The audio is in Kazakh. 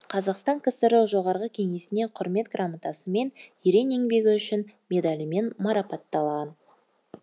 қазақ ксро жоғарғы кеңесіне құрмет грамотасымен ерен еңбегі үшін медалімен марапатталған